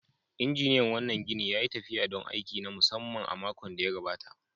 Injiniyan wannan ginin ya yi tafiya don aiki na musamman a makon da ya gabata.